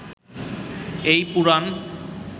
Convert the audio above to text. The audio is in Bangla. এই পুরাণ